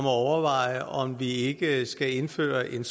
at overveje om vi ikke skal indføre en